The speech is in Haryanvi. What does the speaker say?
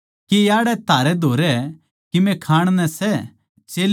चेल्यां नै उस ताहीं भुनी होई मच्छी का टुकड़ा दिया